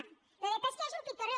el tema de pesca és un pitorreo